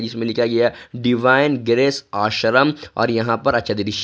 जिसमें लिखा गया है डिवाइन ग्रेस आश्रम और यहां पर अच्छा दृश्य--